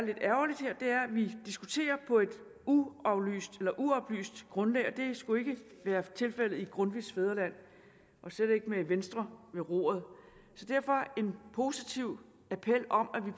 at vi diskuterer på et uoplyst grundlag og det skulle ikke være tilfældet i grundtvigs fædreland og slet ikke med venstre ved roret så derfor en positiv appel om at vi